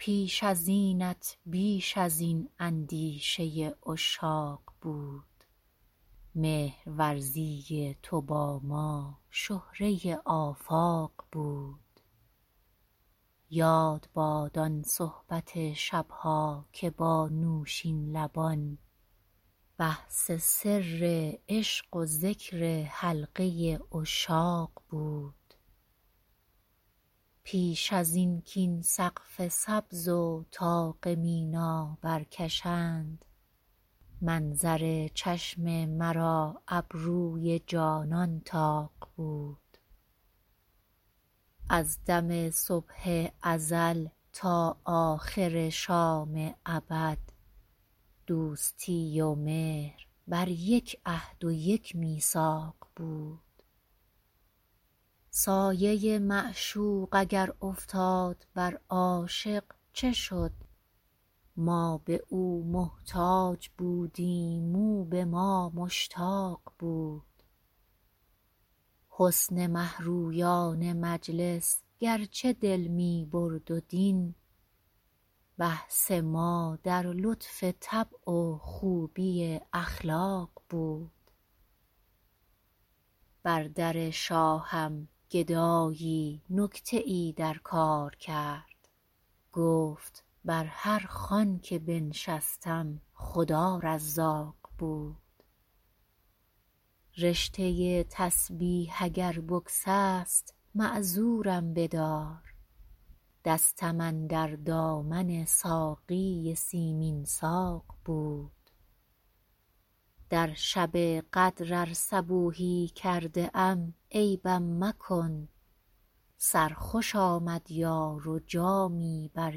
پیش از اینت بیش از این اندیشه عشاق بود مهرورزی تو با ما شهره آفاق بود یاد باد آن صحبت شب ها که با نوشین لبان بحث سر عشق و ذکر حلقه عشاق بود پیش از این کاین سقف سبز و طاق مینا برکشند منظر چشم مرا ابروی جانان طاق بود از دم صبح ازل تا آخر شام ابد دوستی و مهر بر یک عهد و یک میثاق بود سایه معشوق اگر افتاد بر عاشق چه شد ما به او محتاج بودیم او به ما مشتاق بود حسن مه رویان مجلس گرچه دل می برد و دین بحث ما در لطف طبع و خوبی اخلاق بود بر در شاهم گدایی نکته ای در کار کرد گفت بر هر خوان که بنشستم خدا رزاق بود رشته تسبیح اگر بگسست معذورم بدار دستم اندر دامن ساقی سیمین ساق بود در شب قدر ار صبوحی کرده ام عیبم مکن سرخوش آمد یار و جامی بر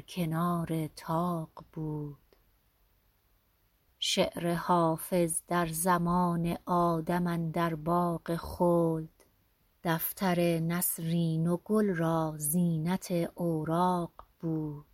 کنار طاق بود شعر حافظ در زمان آدم اندر باغ خلد دفتر نسرین و گل را زینت اوراق بود